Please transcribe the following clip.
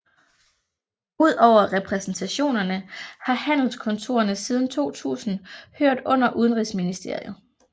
Udover repræsentationerne har handelskontorerne siden 2000 hørt under Udenrigsministeriet